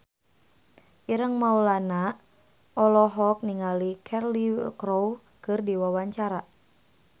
Ireng Maulana olohok ningali Cheryl Crow keur diwawancara